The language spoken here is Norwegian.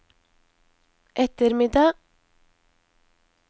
ettermiddag